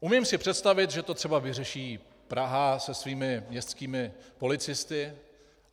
Umím si představit, že to třeba vyřeší Praha se svými městskými policisty.